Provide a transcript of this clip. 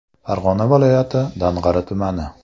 Farg‘ona viloyati Dang‘ara tumani.